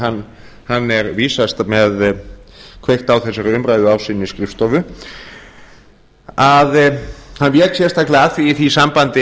hann er vísast með kveikt á þessari umræðu á sinni skrifstofu að hann vék sérstaklega að því í því sambandi